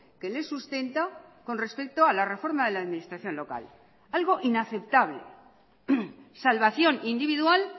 que les sustenta con respecto a la reforma de la administración local algo inaceptable salvación individual